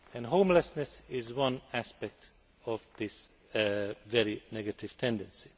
Homelessness is one aspect of this very negative tendency.